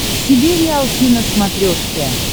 себе риалти на смотрешке